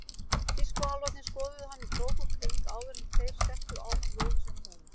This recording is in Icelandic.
Tískuálfarnir skoðuðu hann í krók og kring áður en þeir settu á hann jólasveinahúfuna.